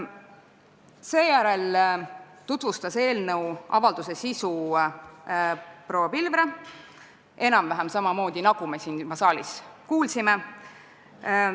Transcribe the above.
Seejärel tutvustas proua Pilvre avalduse eelnõu sisu enam-vähem samamoodi, nagu me siin saalis juba kuulsime.